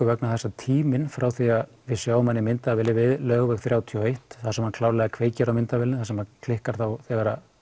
vegna þess að tíminn frá því að við sjáum hann í myndavélinni á Laugaveg þrjátíu og eitt þar sem hann klárlega kveikir á myndavélinni það sem klikkar á þegar